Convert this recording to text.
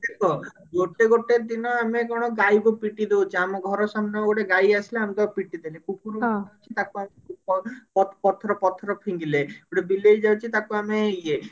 ଦେଖ ଗୋଟେ ଗୋଟେ ଦିନ ଆମେ କଣ ଗାଈକୁ ପିଟିଦଉଛେ ଆମ ଘର ସାମ୍ନାକୁ ଗୋଟେ ଗାଈ ଆସିଲା ଆମେ ତାକୁ ପିଟିଦେଲେ କୁକୁର ଅଛି ତାକୁ ଆମେ ପ ପଥର ପଥର ପଥର ଫିଙ୍ଗିଲେ ଗୋଟେ ବିଲେଇ ଯାଉଛି ତାକୁ ଆମେ ଇଏ